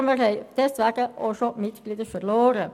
Wir haben deswegen auch schon Mitglieder verloren.